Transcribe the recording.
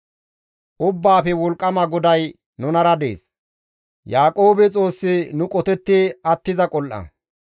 Ubbaafe wolqqama GODAY nunara dees; Yaaqoobe Xoossi nu qotetti attiza qol7a.